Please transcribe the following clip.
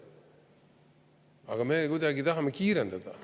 Aga me tahame kuidagi kiirendada.